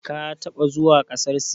Ka taɓa zuwa ƙasar Sin?